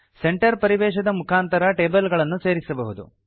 centre ಪರಿವೇಶದ ಮುಖಾಂತರ table ಗಳನ್ನು ಸೇರಿಸಬಹುದು